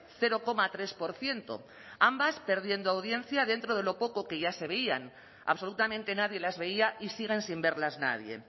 cero coma tres por ciento ambas perdiendo audiencia dentro de lo poco que ya se veían absolutamente nadie las veía y siguen sin verlas nadie